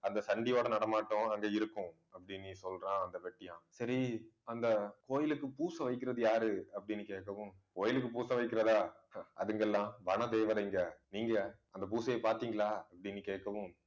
அந்த சண்டியோட நடமாட்டம் அங்க இருக்கும் அப்படினு சொல்றா அந்த வெட்டியான். சரி அந்த கோயிலுக்கு, பூச வைக்கிறது யாரு அப்படின்னு கேட்கவும் கோயிலுக்கு பூச வைக்கிறதா ஆஹ் அதுங்க எல்லாம் வனதேவதைங்க நீங்க அந்த பூசையை பார்த்தீங்களா அப்படின்னு கேட்கவும்